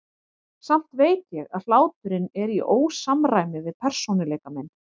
Samt veit ég að hláturinn er í ósamræmi við persónuleika minn.